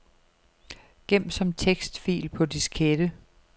Gem som tekstfil på diskette.